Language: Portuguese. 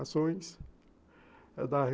Ações, da